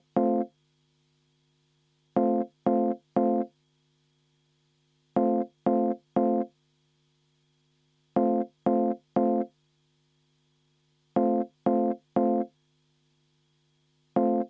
Muudatusettepanekute esitamise tähtaeg on käesoleva aasta 28. veebruar kell 16.